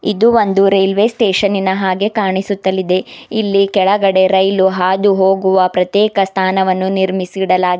ಇದು ಒಂದು ರೈಲ್ವೆ ಸ್ಟೇಷನಿನ ಹಾಗೆ ಕಾನಿಸುತ್ತಲಿದೆ ಇಲ್ಲಿ ಕೆಳಗಡೆ ರೈಲು ಹಾದುಹೊಗುವ ಪ್ರತ್ತೇಕ ಸ್ಥಾನವನ್ನು ನಿರ್ಮಿಡಿಸಲಾಗಿ--